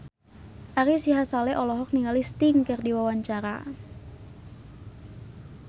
Ari Sihasale olohok ningali Sting keur diwawancara